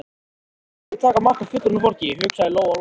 Aldrei skal ég taka mark á fullorðnu fólki, hugsaði Lóa-Lóa.